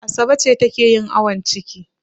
Asabe ce take yin awon ciki.